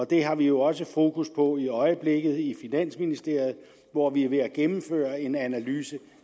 det har vi jo også fokus på i øjeblikket i finansministeriet hvor vi er ved at gennemføre en analyse